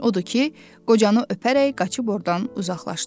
Odur ki, qocanı öpərək qaçıb ordan uzaqlaşdı.